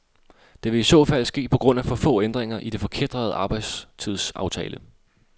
Det vil i så fald ske på grund af for få ændringer i den forkætrede arbejdstidsaftale.